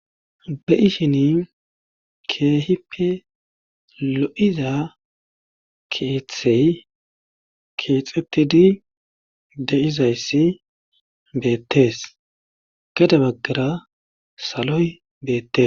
be7ishini keehippe lo7iza keeththey keexetidi deizayssi beettees gede baggara saloy beettes